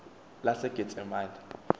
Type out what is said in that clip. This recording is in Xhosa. lasegetsemane